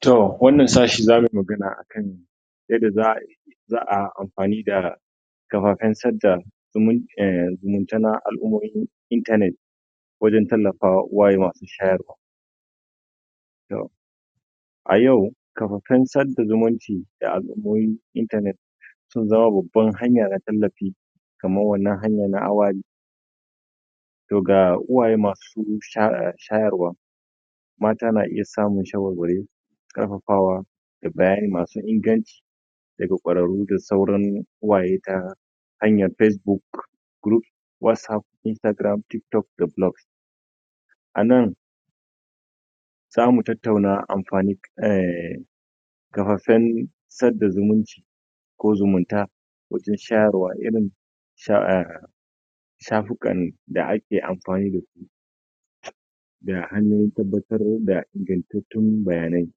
To wannan sashi za mu yi magana akan yadda za'ayi za'a yi amfani da kafafen sadda zumunta na al'ummomi, internet wajen tallafawa uwaye masu shayarwa. A yau kafafen sada zumunci da al'ummomin internet sun zama babban hanya na tallafi kamar wannan hanya na To ga uwaye masu shayarwa mata na iya samun shawarwari, ƙarfafawa, da bayani masu inganci, daga ƙwararru da sauran uwaye ta hanyar Facebook, group, Whatsaap, instagram, Tiktok da Blogs. Anan zamu tattaua amfanin Kafafen Sada Zumunci ko Zumunta wajen shayarwa irin shafikan da ake amfani da su da hanyoyin tabbatar da ingantattun bayanai.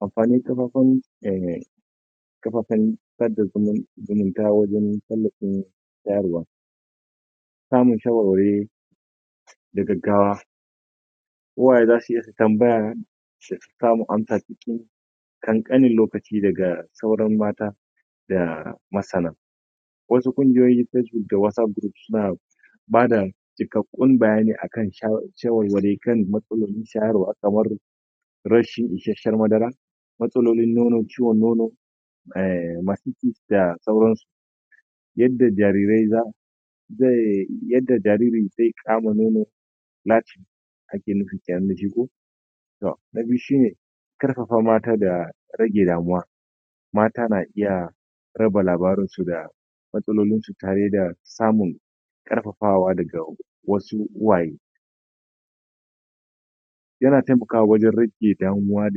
Amfanin kafafen ehh kafafen sada zumunci zumunta wajen tallafin shayarwa. Samin shawarwari da gaggawa uwaye za su iya tambaya su sami amsa cikin ƙanƙaninlkaci dagasauran mata da masana. Wasu ƙungiyoyin Facebook da Whatsapp group suna bada cikakkun bayani akan shayarwa shawarwari kan matsalar shayarwa kamar, rashin isasshiyar madara, matsoloili ciwon nono, ehhh da sauran su. Yadda jarirai za su yadda jariri zai kama nono, Lacting ake nufi kenan da shi ko? To na Biyu shine: Ƙarfafa mata da Rage Damuwa. Mata na iya, raba labarinsu da matsalolinsu tare da samun ƙarfafawa daga wasu uwaye. Yana taimakawa waje rage damuwa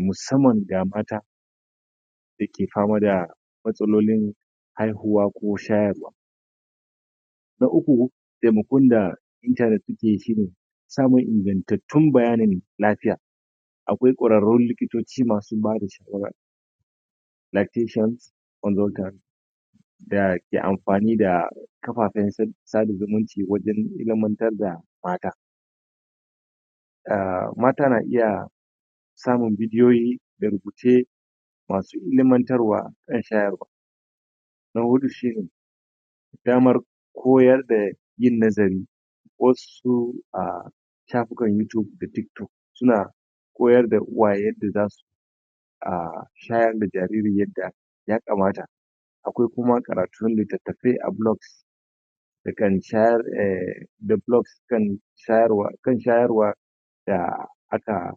musamman ga mata da ke fama da matsalolin haihwa ko shayarwa. Na Uku, Taimakon da Internet takyi shine: Samun ingantattun bayanin l;afiya. Akwai ƙwararrun likitoci masu bada shawara Lactation Consultants dake amfani da kafafen sada zumunci wajen ilimantar da mata. Ahh Mata na iya samun bidiyoyi, da rubuce ilimantarwa akan shayarwa. Na Huɗu shine: damar koyar da yin nazari Wasu, ahh shafukan Youtube da Facebook suna koyar da uwaye yadda zasu ahh shayar da jariri yadda ya kamata. Akwai kumakaratun littatafai a blog, da kan shayar ehh da Blogs akan shayarwa da aka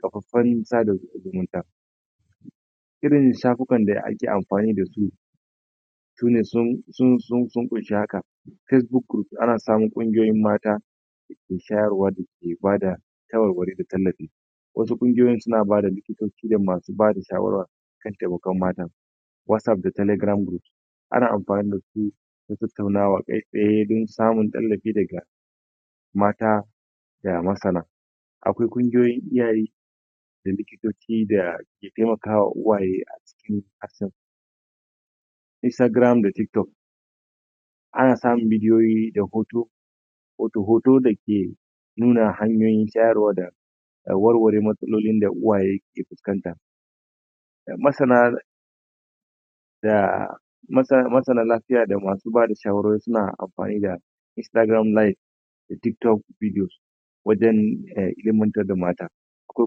kafafen sada zumunta. Irin shafikan da ake amfani da su sune, sun Vunshi haka; Facebook Group, ana samun ƙungiyoyin mata da shawarwa da suke bada shawarwari da tallafi. Wasu ƙungiyoyin suna bada likitoci rin masu ba da shawara akan taimakon mata. WhatsApp da Telegram Group. Ana amfani da su don tattaunawa kai tsaye don samun tallafi daga mata da masana. Akwai ƙungiyoyin iyaye da likitoci da ke taimaka uwaye a cikin Instagram da Tiktok. Ana samun bidiyoyi da hoto hotoda ke nuna hanyoyin shayarwa da warware matsalolin da uwaye ke fuskanta. Masana ahhh masanan lafiya da masu ba da shawarorisuna amfani da Instagram live, da Tiktok bidiyo, wajen ilimantar da mata. Akwai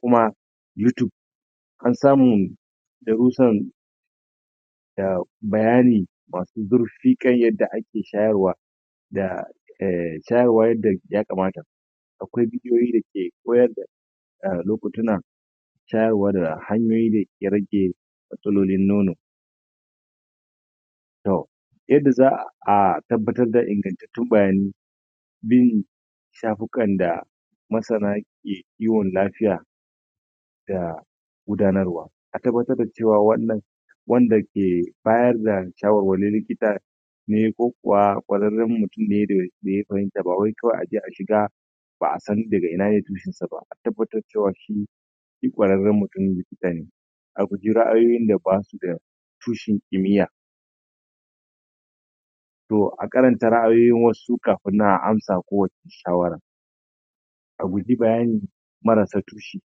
kuma Youtube. An samu darrusan ehh bayani masu zurfi kan yadda ake shayarwa da shawarwari da ya kamata akwai bidiyoyi da ke koyar da lokutunan shayarwa da hanyoyi da yake rage matsalolin nono. To yadda za'a tabbatar da ingaggatattun bayanai bin shafukan da masan ke kiwon lafiya da gudanarwa a tabbatar da cewa wannan wanda ke bayar da shawarwari likita ne ko kuwa ƙwararren mutum ne da ya bajinta ba kawai a je a shiga ba'a san daga inane tushen sa ba,a tabbatar cewa shi shi ƙwararren mutum likita ne. A guji ra'ayoyin da ba su da tushen kimiya. To a karanta ra'ayoyin wasu kafin nan a ansa kowacce shawara. A guji bayani marasa tushi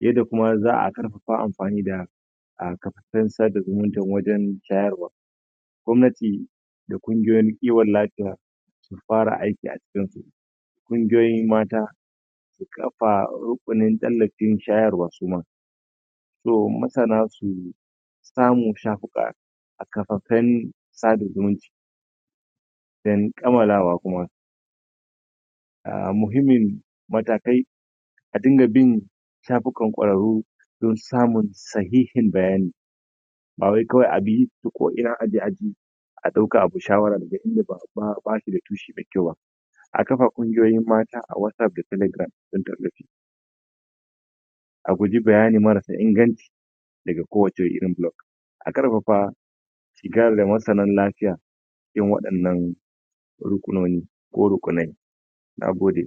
yadda kuma za'a ƙarfafa amfani da kafafen sada zumuncin wajen shayarwa. Gwamnati da ƙungiyoyin kiwon lafiya su fara aiki a cikin su, ƙungiyoyin mata su kafa rukunin tallafin shayarwa suma. So masana su samu shafuka a kafafen sada zumunci. Den Kammalawa kuma. muhimmin matakai a dinga bin shafukan ƙwararru don samun sahihin bayani ba wai kawai ta ko'ina abi aje a ɗauka abi shawari daka inda ba shi da tushemai kyau ba. A kafa ƙungiyoyin mata a WhatsApp da Telegram kun ta ba ji A guji bayani marasa inganci daga kowacce irin Blog A ƙarfafa shiga da masanan lafiya cikin waɗannan rukunoni ko rukunai. Na gode.